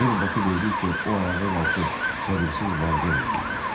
Hel Bakı döydükcə o ayağa qalxıb səbirsiz var gəl eləyirdi.